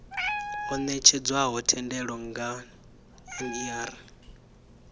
o netshedzwaho thendelo nga ner